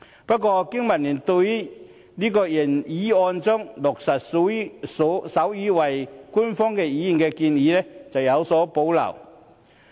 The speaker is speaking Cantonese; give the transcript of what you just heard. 不過，經民聯對於原議案中落實手語為官方語言的建議則有所保留。